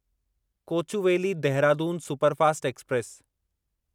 Kochuveli Dehradun superfast express